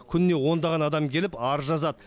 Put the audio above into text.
күніне ондаған адам келіп арыз жазады